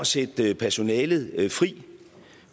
sætte personalet fri